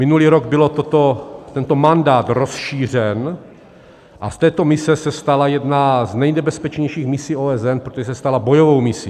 Minulý rok byl tento mandát rozšířen a z této mise se stala jedna z nejnebezpečnějších misí OSN, protože se stala bojovou misí.